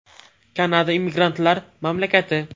Kanada immigrantlar mamlakati.